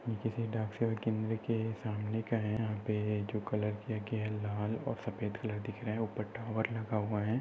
ये किसी डाक केंद्र के सामने का है यहा पे जो कलर किया गया है लाल और सफेद कलर दिखा रहे है ऊपर टॉवर लगा हुआ है।